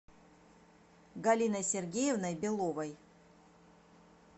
галиной сергеевной беловой